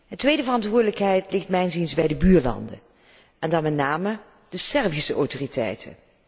Een tweede verantwoordelijkheid ligt mijns inziens bij de buurlanden en dan met name bij de Servische autoriteiten.